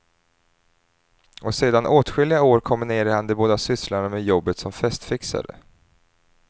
Och sedan åtskilliga år kombinerar han de båda sysslorna med jobbet som festfixare.